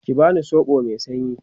ki bani soɓo Mai sanyi!